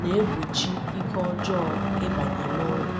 na-egbochi ike ọjọọ ịbanye n’ụlọ.